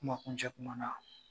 Kumakuncɛ kuma na